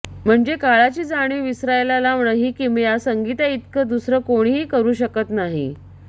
म्हणजे काळाची जाणीव विसरायला लावणं ही किमया संगीताइतकं दुसरं कोणीही करु शकत नाही